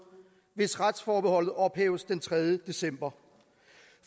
hvis retsforbeholdet ophæves den tredje december